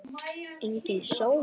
Við spilum pönk!